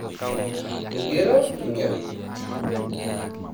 Ngero ina.